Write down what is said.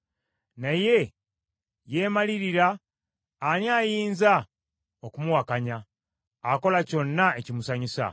“Naye yeemalirira, ani ayinza okumuwakanya? Akola kyonna ekimusanyusa.